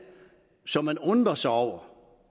som man undrer sig over